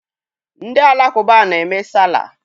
Ndị Alakụba na-eme Salah.